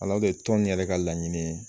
Alɔrike tɔn in yɛrɛ ka laɲini ye